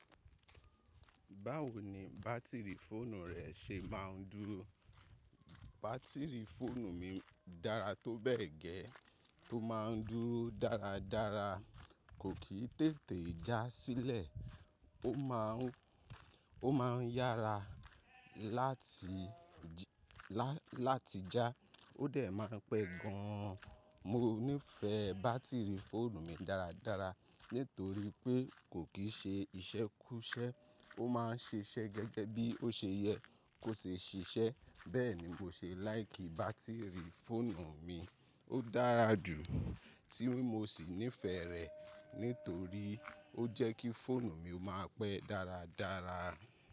Báwo ni bátìrì fóònù rẹ ṣe máa ń dúrọ́? Bátìrì fóònù mi dára tó bẹ́ẹ̀ gẹ́, tó máa ń dúró dáradára, kò kì í tètè já sílẹ̀, ó má ń yára láti, láti já, ó dẹ̀ máa pẹ́ gan an. Mo nífẹ̀ẹ́ bátìrì fóònù mi dáradára nítorí pé kò kì í ṣe iṣẹ́ kúsẹ́, ó máa ń ṣiṣẹ́ gẹ́gẹ́ bí ó ṣe yẹ kó ṣe ṣiṣẹ́. Bẹ́ẹ̀ni mo ṣe láìkì bátìrì fóònù mi, ó dára jù tí mo sì nífẹ̀ẹ́ rẹ̀ nítorí ó jẹ́ kí fóònù mi ó máa pẹ́ dáradára.